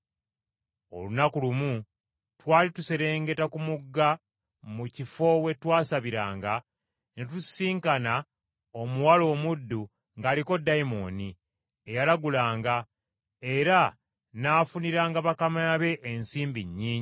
Olunaku lumu twali tuserengeta ku mugga mu kifo we twasabiranga, ne tusisinkana omuwala omuddu ng’aliko ddayimooni eyalagulanga, era n’afuniranga bakama be ensimbi nnyingi.